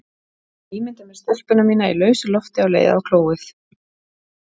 Ég ímynda mér stelpuna mína í lausu lofti á leið á klóið.